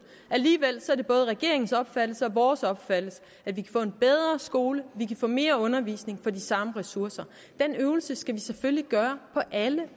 alligevel er det både regeringens opfattelse og vores opfattelse at vi kan få en bedre skole vi kan få mere undervisning for de samme ressourcer den øvelse skal vi selvfølgelig gøre på alle